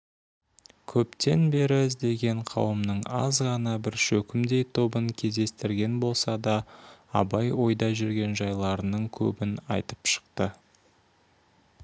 көптен бері іздеген қауымның азғана бір шөкімдей тобын кездестірген болса да абай ойда жүрген жайларының көбін айтып шықты